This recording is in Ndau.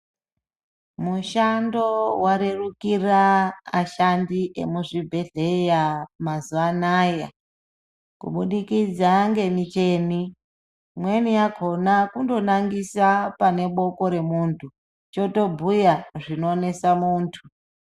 Mushando varerukira ashandi emuzvibhedhleya mazuva anaya kubudikidza ngemicheni. Imweni yakona kundonangisa paneboko remuntu chotobhuya zvinonesa muntu.